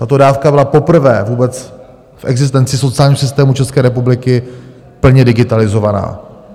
Tato dávka byla poprvé vůbec v existenci sociálního systému České republiky plně digitalizovaná.